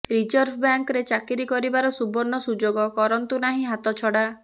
reserve ବ୍ୟାଙ୍କରେ ଚାକିରି କରିବାର ସୁବର୍ଣ୍ଣ ସୁଯୋଗ କରନ୍ତୁ ନାହିଁ ହାତଛଡା